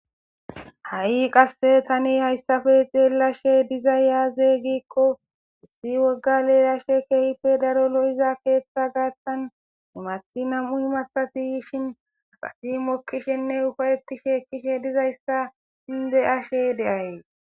Ha' qase Tani haysappe xelashe dizay aaze gikoni issi woga leelashe keehippe lo'iza keetha gathani imsthi nam'u imathati yishn asiy mokishenne upa'etishe dizaysa beyayisi.